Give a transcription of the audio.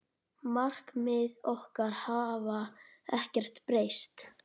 Markmið okkar hafa ekkert breyst.